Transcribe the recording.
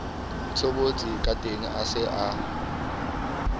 tshobotsi kateng a se a